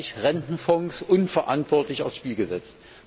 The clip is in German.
zugleich Rentenfonds unverantwortlich aufs Spiel gesetzt.